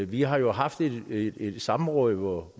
vi har jo haft et samråd hvor